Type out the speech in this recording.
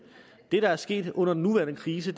det der er sket under den nuværende krise